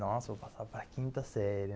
Nossa, vou passar para a quinta série.